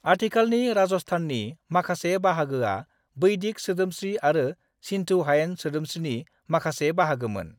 आथिखालनि राजस्थाननि माखासे बाहागोया बैदिक सोदोमस्रि आरो सिन्धु हायेन सोदोमस्रिनि माखासे बाहागोमोन।